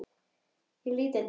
Ég lít undan.